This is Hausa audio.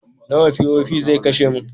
Nawa POP zai kashe min?